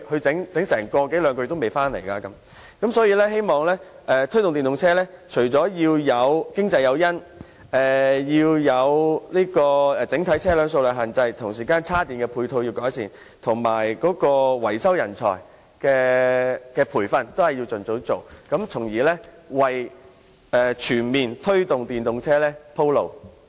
總結而言，我希望政府能就推動使用電動車提供經濟誘因、控制整體車輛的數量、改善充電的配套設施及盡早着手培訓電動車維修人才，從而為全面推動電動車普及化鋪路。